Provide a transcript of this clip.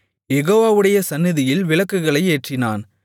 யெகோவாவுடைய சந்நிதியில் விளக்குகளை ஏற்றினான்